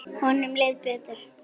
Honum leið betur.